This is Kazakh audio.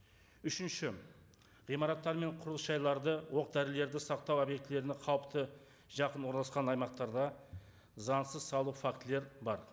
үшінші ғимараттар мен құрылыс жайларды оқ дәрілерді сақтау объектілеріне қауіпті жақын орналасқан аймақтарда заңсыз салу фактілер бар